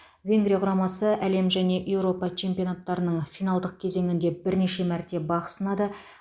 венгрия құрамасы әлем және еуропа чемпионаттарының финалдық кезеңінде бірнеше мәрте бақ сынады